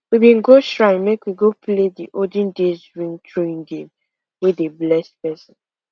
we been go shrine make we go play the olden days ring throwing game wey dey bless person